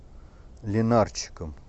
линарчиком